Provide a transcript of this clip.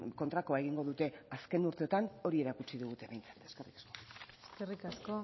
kontrakoa egingo dute azken urteetan hori erakutsi digute behintzat eskerrik asko eskerrik asko